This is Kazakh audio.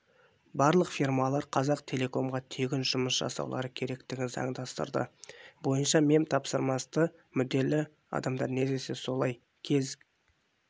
барлық фирмалар қазақтелекомға тегін жұмыс жасаулары керектігін заңдастырды бойынша мемтапсырысты мүдделі адамдар не десе солай кез